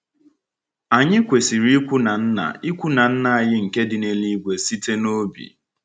Anyị kwesịrị ikwu na Nna ikwu na Nna anyị nke dị n’eluigwe site n’obi.